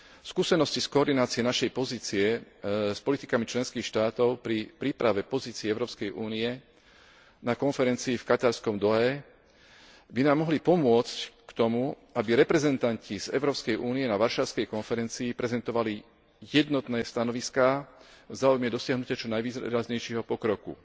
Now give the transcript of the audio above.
Skúsenosti s koordináciou našej pozície s politikami členských štátov pri príprave pozície Európskej únie na konferencii v katarskej Dauhe by nám mohli pomôcť k tomu, aby reprezentanti Európskej únie na Varšavskej konferencii prezentovali jednotné stanoviská v záujme dosiahnutia čo najvýraznejšieho pokroku.